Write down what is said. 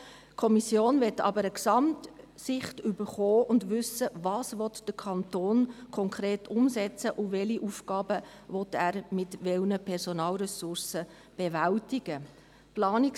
Die Kommission möchte aber eine Gesamtsicht erhalten und möchte wissen, was der Kanton konkret umsetzen will und welche Aufgaben er mit welchen Personalressourcen bewältigen will.